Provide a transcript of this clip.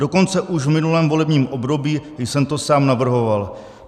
Dokonce už v minulém volebním období jsem to sám navrhoval.